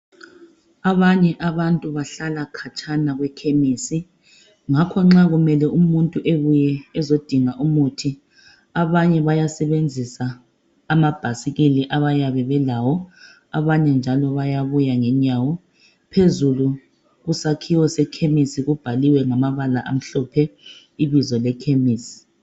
Abanye abantu Bahlala khatshana kwekhemisi, ngakho nxa kumele umuntu ebuye ezodinga umuthi ,abanye bayasebenzisa amabhayisikili abayabe belawo . Abanye njalo bayabuya ngenyawo . Phezulu kusakhiwo sekhemisi kubhaliwe ngamabala amhlophe ibizo lekhemisi.